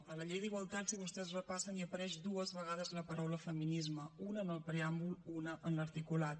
a la llei d’igualtat si vostès la repassen hi apareix dues vegades la paraula feminisme una en el preàmbul una en l’articulat